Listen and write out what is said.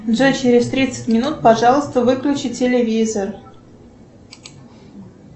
джои через тридцать минут пожалуйста выключи телевизор